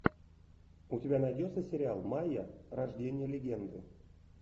у тебя найдется сериал майя рождение легенды